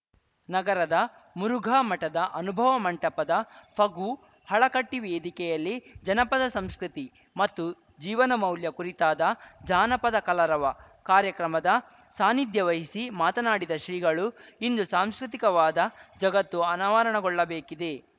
ನಗರದ ಮುರುಘಾ ಮಠದ ಅನುಭವ ಮಂಟಪದ ಫಗುಹಳಕಟ್ಟಿವೇದಿಕೆಯಲ್ಲಿ ಜನಪದ ಸಂಸ್ಕೃತಿ ಮತ್ತು ಜೀವನ ಮೌಲ್ಯ ಕುರಿತಾದ ಜಾನಪದ ಕಲರವ ಕಾರ್ಯಕ್ರಮದ ಸಾನ್ನಿಧ್ಯ ವಹಿಸಿ ಮಾತನಾಡಿದ ಶ್ರೀಗಳು ಇಂದು ಸಾಂಸ್ಕೃತಿಕವಾದ ಜಗತ್ತು ಅನಾವರಣಗೊಳ್ಳಬೇಕಿದೆ